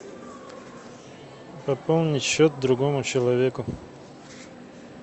пополнить счет другому человеку